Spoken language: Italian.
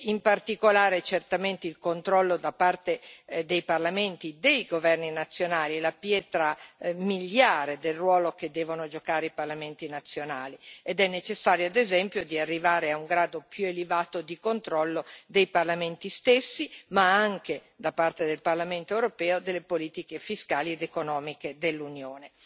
In particolare, certamente, il controllo dei parlamenti sui governi nazionali è la pietra miliare del ruolo che devono giocare i parlamenti nazionali ed è necessario, ed esempio, arrivare a un grado più elevato di controllo dei parlamenti stessi ma anche, da parte del Parlamento europeo, delle politiche fiscali ed economiche dell'Unione.